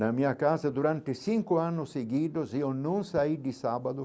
Na minha casa, durante cinco anos seguidos, eu não saí de sábado.